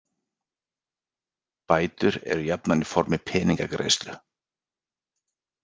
Bætur eru jafnan í formi peningagreiðslu.